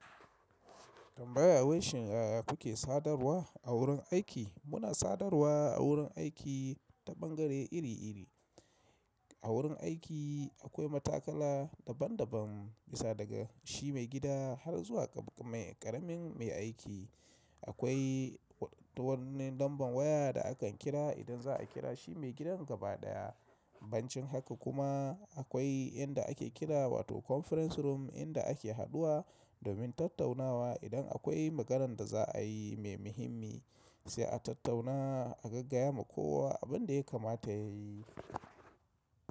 Tambaya wai shin yaya kuke sadarwa a wurin aiki? Muna sadarwa a wurin aiki ta bangare iri iri. A wurin aiki akwai matakala daban daban, bisa daga shi mai gida har zuwa ƙaramin mai aiki. Akwai wani lamban waya da akan kira idan za a kira shi mai gidan gabaɗaya. Bancin haka kuma akwai inda ake kira wato conference room inda ake haduwa domin tattaunawa idan akwai maganan da za a yi mai muhimmi, sai a tattauna a gaggaya ma kowa abin da ya kamata ya yi.